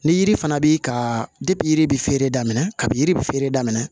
Ni yiri fana b'i ka yiri bɛ feere daminɛ kabi yiri bɛ feere daminɛ